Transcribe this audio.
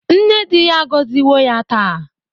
Nne dị ya agọziwo ya taa